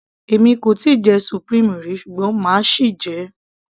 èmi kò tíì jẹ supreme rí ṣùgbọ́n máa sì jẹ ẹ́